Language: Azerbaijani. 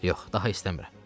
Yox, daha istəmirəm.